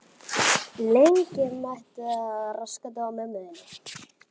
Lengi mætti telja.